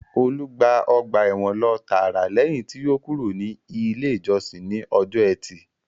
Olú gba ọgbà ẹ̀wọ̀n lọ tààrà lẹ́yìn tí ó kúrò ní ilé ìjọsìn ní ọjọ́ etí